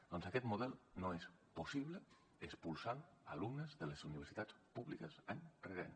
doncs aquest model no és possible expulsant alumnes de les universitats públiques any rere any